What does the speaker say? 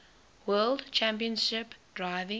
world championship driving